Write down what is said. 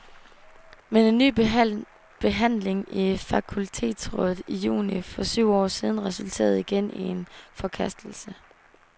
Men en ny behandling i fakultetsrådet i juni for syv år siden resulterede igen i en forkastelse.